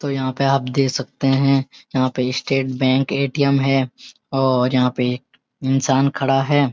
तो यहां पे आप देख सकते हैं यहां पे स्‍टेट बैंक ए.टी. एम. है और यहां पे एक इंसान खड़ा है।